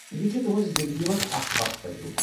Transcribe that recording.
یہ چھُ تہنٛزِ زندگی منٛز اکھ خاص تجرٗبہٕ۔